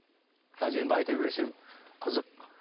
қазір енді айта берсем қызық